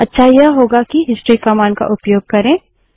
अच्छा यह होगा कि हिस्ट्री कमांड का उपयोग करें